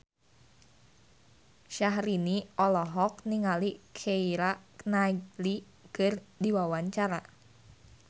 Syahrini olohok ningali Keira Knightley keur diwawancara